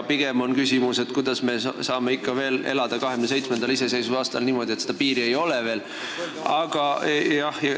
Pigem on küsimus selles, kuidas me saame 27. iseseisvusaastal ikka veel elada niimoodi, et piiri ei ole.